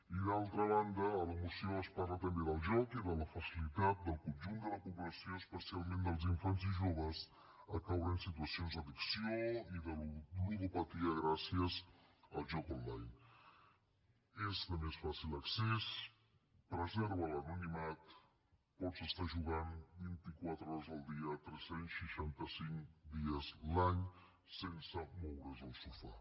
i d’altra banda a la moció es parla també del joc i de la facilitat del conjunt de la població especialment dels infants i joves a caure en situacions d’addicció i de ludopatia gràcies al joc online és de més fàcil accés preserva l’anonimat pots estar jugant vint i quatre hores al dia tres cents i seixanta cinc dies l’any sense moure’s del sofà